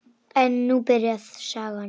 En nú byrjar sagan.